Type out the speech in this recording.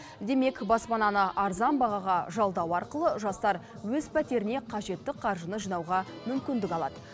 демек баспананы арзан бағаға жалдау арқылы жастар өз пәтеріне қажетті қаржыны жинауға мүмкіндік алады